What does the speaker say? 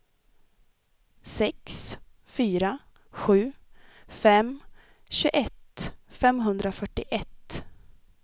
sex fyra sju fem tjugoett femhundrafyrtioett